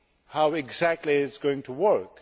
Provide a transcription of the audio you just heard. How exactly is it going to work?